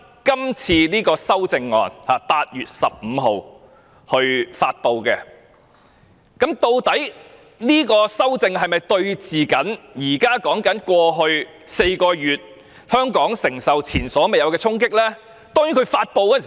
今次的修正案，是基於8月15日發布的紓困措施，這是否與香港過去4個月所承受的前所未有衝擊有關呢？